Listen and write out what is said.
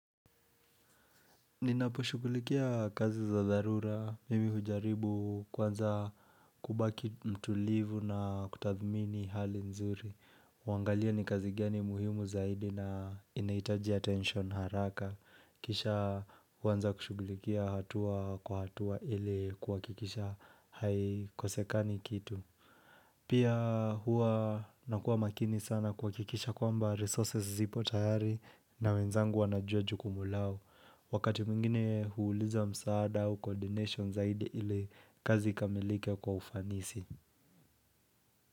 Ninaposhugulikia kazi za dharura, mimi hujaribu kwanza kubaki mtulivu na kutadhmini hali nzuri. Huangalia ni kazi gani muhimu zaidi na inaitaji attension haraka. Kisha huanza kushugulikia hatua kwa hatua ili kwa kuhakikisha haikosekani kitu. Pia hua nakuwa makini sana kwa kuhakikisha kwamba resources zipo tayari na wenzangu wanajua jukumu lao. Wakati mwingine huuliza msaada au coordination zaidi ili kazi ikamilike kwa ufanisi.